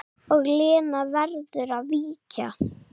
Og Lena verður að víkja.